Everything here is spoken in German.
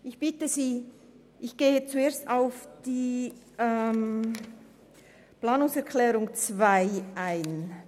Ich gehe zuerst auf die Planungserklärung 2 ein.